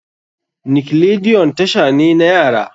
Nickelodeon tasha ne na yara.